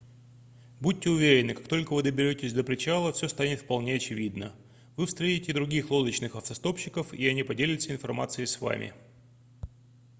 будьте уверены как только вы доберетесь до причала все станет вполне очевидно вы встретите других лодочных автостопщиков и они поделятся информацией с вам